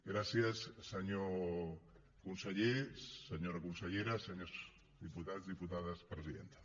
gràcies senyor conseller senyora consellera senyors diputats diputades presidenta